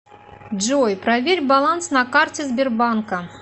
джой проверь баланс на карте сбербанка